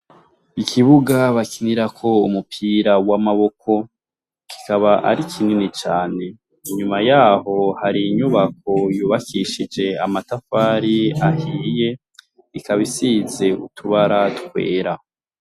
Ikibuga bakinirako umupira w'amaboko, kikaba ari kinini cane inyuma yaho hari inyubako yubakishije amatafari ahiye ikaba isize utubara twera.